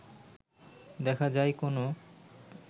দেখা যায় কেনো